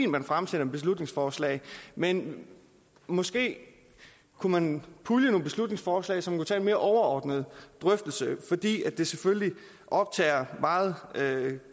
man fremsætter beslutningsforslag men måske kunne man pulje nogle beslutningsforslag så man kunne tage en mere overordnet drøftelse fordi det selvfølgelig optager meget